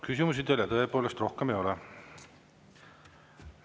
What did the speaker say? Küsimusi teile tõepoolest rohkem ei ole.